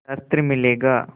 शस्त्र मिलेगा